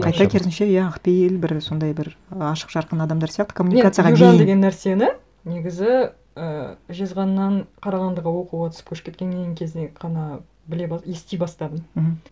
қайта керісінше иә ақпейіл бір сондай бір ашық жарқын адамдар сияқты коммуникацияға бейім мен южан деген нәрсені негізі ы жезқазғаннан қарағандыға оқуға түсіп көшіп кеткеннен кезінен ғана біле ести бастадым